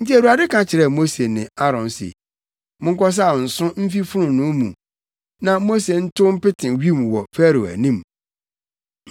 Enti Awurade ka kyerɛɛ Mose ne Aaron se, “Monkɔsaw nso mfi fononoo mu, na Mose ntow mpete wim wɔ Farao anim.